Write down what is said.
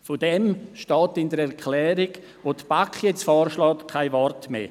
Davon steht in der Erklärung, wie sie die BaK nun vorschlägt, jetzt kein Wort mehr.